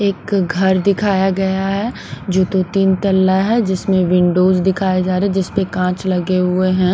एक घर दिखाया गया हैजो तो तीन तला है जिसमें विंडोज दिखाए जा रहे हैंजिस पर कांच लगे हुए हैं।